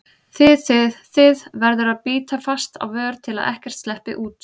þið þið, þið- verður að bíta fast á vör til að ekkert sleppi út.